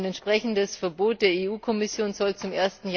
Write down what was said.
Ein entsprechendes Verbot der EU Kommission soll zum